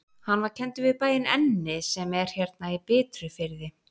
Hann var kenndur við bæinn Enni sem er hérna í Bitrufirði.